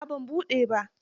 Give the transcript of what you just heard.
A'a ban buɗe ba.